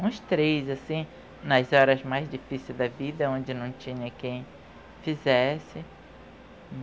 Uns três, assim, nas horas mais difíceis da vida, onde não tinha quem fizesse.